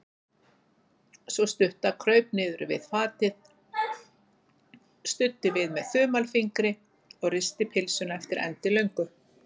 Sú stutta kraup niður við fatið, studdi við með þumalfingri og risti pylsuna eftir endilöngu.